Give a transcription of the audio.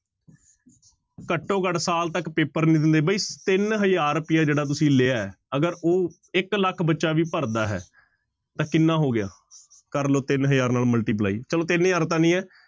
ਘੱਟੋ ਘੱਟ ਸਾਲ ਤੱਕ ਪੇਪਰ ਨੀ ਦਿੰਦੇ ਬਈ ਤਿੰਨ ਹਜ਼ਾਰ ਰੁਪਇਆ ਜਿਹੜਾ ਤੁਸੀਂ ਲਿਆ ਹੈ ਅਗਰ ਉਹ ਇੱਕ ਲੱਖ ਬੱਚਾ ਵੀ ਭਰਦਾ ਹੈ ਤਾਂ ਕਿੰਨਾ ਹੋ ਗਿਆ ਕਰ ਲਓ ਤਿੰਨ ਹਜ਼ਾਰ ਨਾਲ multiply ਚਲੋ ਤਿੰਨ ਹਜ਼ਾਰ ਤਾਂ ਨਹੀਂ ਹੈ,